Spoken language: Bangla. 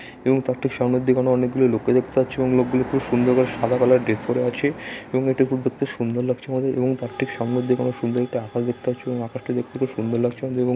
এবং তার সামনের দিকে এখানে অনেকগুলি লোককে দেখতে পাচ্ছি এবং লোক গুলি খুব সুন্দরভাবে সাদা কালার ড্রেস পরে আছে এবং এটি দেখতে খুব সুন্দর লাগছে আমাদের এবং তার ঠিক সামনের দিকে আমরা সুন্দর একটা আকাশ দেখতে পাচ্ছি এবং আকাশটি দেখতে খুব সুন্দর লাগছে আমাদের এবং--